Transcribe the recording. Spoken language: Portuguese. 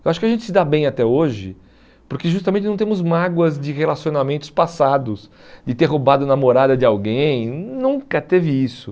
Eu acho que a gente se dá bem até hoje, porque justamente não temos mágoas de relacionamentos passados, de ter roubado a namorada de alguém, nunca teve isso.